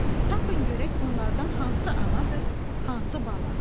Tapın görək bunlardan hansı anadır, hansı bala?